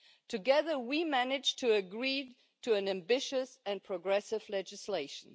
Together, we managed to agree a piece of ambitious and progressive legislation.